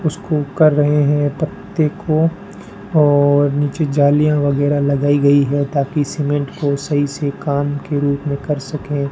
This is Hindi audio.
उसको कर रहे हैं पत्ते को और नीचे जलियां वगैरा लगाई गई हैं ताकि सीमेंट को सही से काम के रूप में कर सकें।